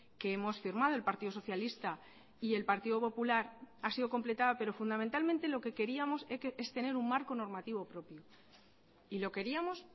que hemos firmado el partido socialista y el partido popular ha sido completada pero fundamentalmente lo que queríamos es tener un marco normativo propio y lo queríamos